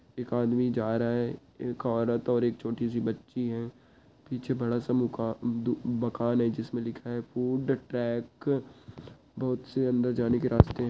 एक आदमी जा रहा है एक औरत और एक छोटी सी बच्ची है पीछे बड़ा सा मुकान-दु-मकान है जिस में लिखा है फूड ट्रैक बहोत से अंदर जाने के रास्ते हैं।